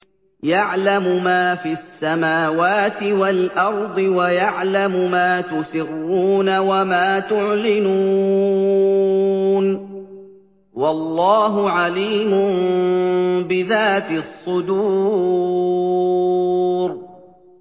يَعْلَمُ مَا فِي السَّمَاوَاتِ وَالْأَرْضِ وَيَعْلَمُ مَا تُسِرُّونَ وَمَا تُعْلِنُونَ ۚ وَاللَّهُ عَلِيمٌ بِذَاتِ الصُّدُورِ